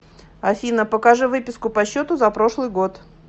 афина покажи выписку по счету за прошлый год